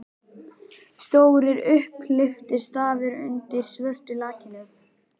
Stórir, upphleyptir stafir undir svörtu lakkinu!